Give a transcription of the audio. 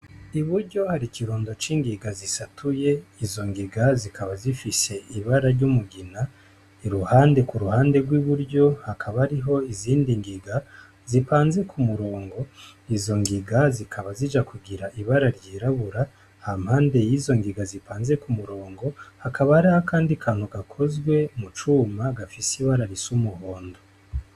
Uburyo hari ikirundo c'ingiga zisatuye ,izo ngiga zikaba zifise ibara ry'umugina ,iruhande ku ruhande rw'iburyo hakaba hariho izindi ngiga zipanze ku murongo ,izo ngiga zikaba zija kugira ibara ry'irabura, hampande yizo ngiga zipanze ku murongo hakaba hari akandi kantu gakozwe mu cuma gafise ibara risa umuhondo.